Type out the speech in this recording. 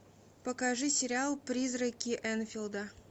покажи сериал призраки энфилда